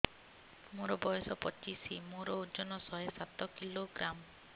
ମୋର ବୟସ ପଚିଶି ମୋର ଓଜନ ଶହେ ସାତ କିଲୋଗ୍ରାମ